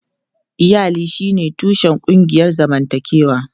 Iyali shine tushen ƙungiyar zamantakewa.